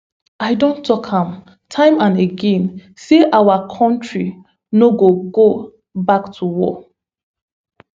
i don tok am time and again say our kontri no go go back to war